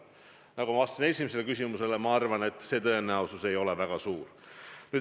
Nagu ma vastasin esimesele küsimusele, ma arvan, et see tõenäosus ei ole väga suur.